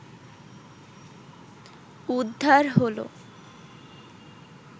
উদ্ধার হলো